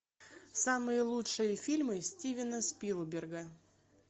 самые лучшие фильмы стивена спилберга